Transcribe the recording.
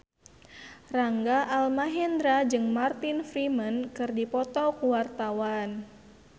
Rangga Almahendra jeung Martin Freeman keur dipoto ku wartawan